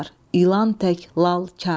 İlan tək lal, kar.